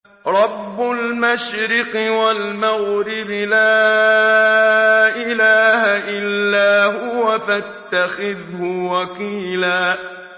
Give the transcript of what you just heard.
رَّبُّ الْمَشْرِقِ وَالْمَغْرِبِ لَا إِلَٰهَ إِلَّا هُوَ فَاتَّخِذْهُ وَكِيلًا